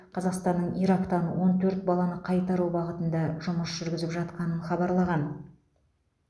қазақстанның ирактан он төрт баланы қайтару бағытында жұмыс жүргізіп жатқанын хабарлаған